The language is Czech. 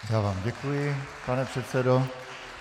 Já vám děkuji, pane předsedo.